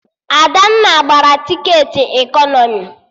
Adanna gbara tiketi ekọnọmi